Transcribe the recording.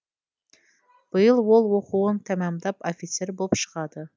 биыл ол оқуын тәмамдап офицер болып шығады